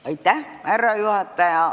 Austatud härra juhataja!